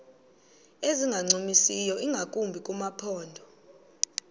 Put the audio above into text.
ezingancumisiyo ingakumbi kumaphondo